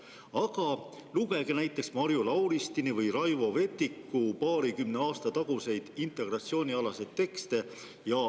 Aga lugege näiteks Marju Lauristini või Raivo Vetiku paarikümne aasta taguseid integratsioonialaseid tekste.